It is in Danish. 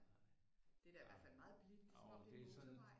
Det er da i hvert fald meget blidt det er som om det er en motorvej